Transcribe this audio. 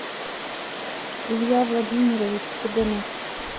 илья владимирович цыганов